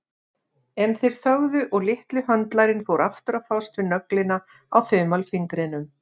En þeir þögðu og litli höndlarinn fór aftur að fást við nöglina á þumalfingrinum.